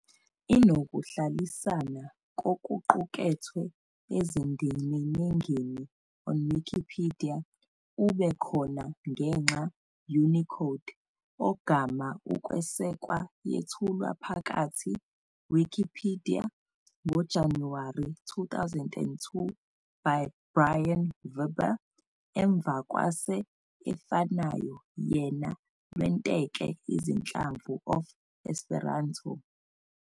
i nokuhlalisana kokuqukethwe ezindiminingi on Wikipedia ube khona ngenxa Unicode, ogama ukwesekwa yethulwa phakathi Wikipedia ngoJanuwari 2002 by Brion Vibber emva kwase efanayo yena lwenteke izinhlamvu of Esperanto.